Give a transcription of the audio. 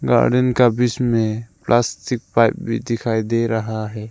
Garden का बिच में प्लास्टिक पाइप दिखाई दे रहा है।